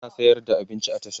tana sayar da abinci a tasha